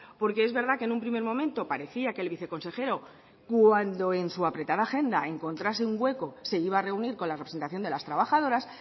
porque es verdad que en un primer momento parecía que el viceconsejero cuando en su apretada agenda encontrase un hueco se iba a reunir con la representación de las trabajadoras